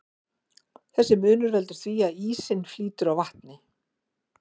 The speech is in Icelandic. Þessi munur veldur því að ísinn flýtur á vatni.